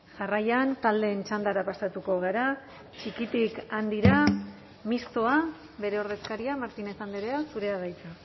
jarraian taldeen txandara pasatuko gara txikitik handira mistoa bere ordezkaria martínez andrea zurea da hitza